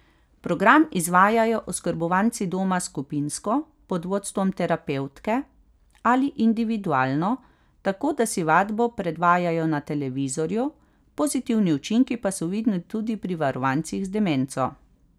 Program izvajajo oskrbovanci doma skupinsko, pod vodstvom terapevtke, ali individualno, tako da si vadbo predvajajo na televizorju, pozitivni učinki pa so vidni tudi pri varovancih z demenco.